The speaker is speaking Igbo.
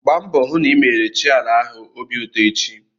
Gba mbọ hụ na ị mere chi ala ahụ obi ụtọ echi!